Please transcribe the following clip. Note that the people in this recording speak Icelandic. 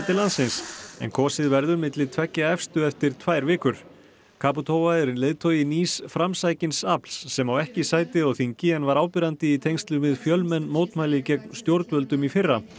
kvenforseti landsins en kosið verður milli tveggja efstu eftir tvær vikur caputova er leiðtogi nýs framsækins afls sem ekki á sæti á þingi en var áberandi í tengslum við fjölmenn mótmæli gegn stjórnvöldum í fyrra